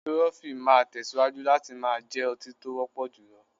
Tirọfi máa tẹ̀síwájú láti máa jẹ́ ọtí tó wọ́pọ̀ jùlọ.